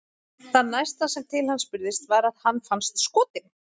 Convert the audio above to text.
Það næsta sem til hans spurðist var að hann fannst skotinn.